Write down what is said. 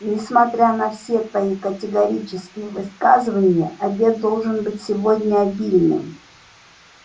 несмотря на все твои категорические высказывания обед должен быть сегодня обильным